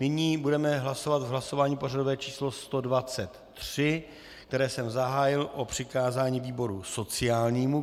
Nyní budeme hlasovat v hlasování pořadové číslo 123, které jsem zahájil, o přikázání výboru sociálnímu.